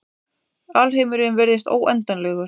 Alheimurinn virðist óendanlegur.